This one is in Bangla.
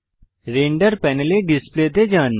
রেন্ডার প্যানেলে ডিসপ্লে তে যান